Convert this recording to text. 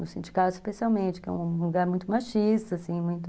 No sindicato, especialmente, que é um lugar muito machista, assim, muito...